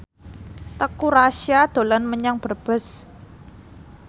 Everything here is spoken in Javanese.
Teuku Rassya dolan menyang Brebes